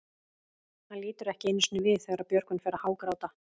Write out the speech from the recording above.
Hann lítur ekki einu sinni við þegar Björgvin fer að hágráta.